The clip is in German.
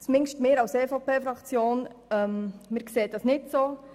Zumindest wir als EVP-Fraktion sehen das nicht so.